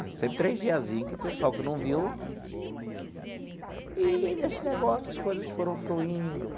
Sempre três diazinhos, que o pessoal que não viu... E, nesse negócio, as coisas foram fluindo.